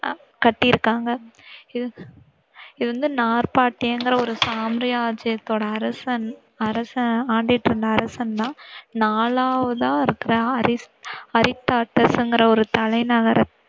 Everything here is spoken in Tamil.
கட்டிருக்காங்க. இத வந்து நாபாடீன் ஒரு சாம்ராஜ்யத்தோட அரசன் அரசன் ஆண்டுகிட்டிருந்த அரசன் தான் நாலாவதா இருக்கிற அரி~அரிஸ்டாட்டிஸ்ங்கிற ஒரு தலைநகர